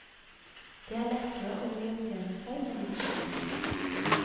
Det er lettere å orientere seg med litt utsikt.